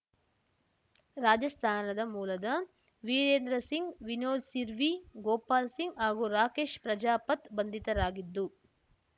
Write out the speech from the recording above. ರಾಜಸ್ತಾನದ ಮೂಲದ ವೀರೇಂದ್ರ ಸಿಂಗ್‌ ವಿನೋದ್‌ ಸಿರ್ವಿ ಗೋಪಾಲ್‌ ಸಿಂಗ್‌ ಹಾಗೂ ರಾಕೇಶ್‌ ಪ್ರಜಾಪತ್‌ ಬಂಧಿತರಾಗಿದ್ದು